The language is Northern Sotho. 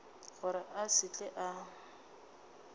gore a se tle a